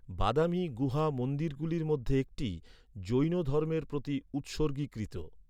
বাদামী গুহা মন্দিরগুলির মধ্যে একটি, জৈন ধর্মের প্রতি উৎসর্গীকৃত।